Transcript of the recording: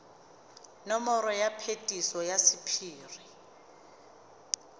nomoro ya phetiso ya sephiri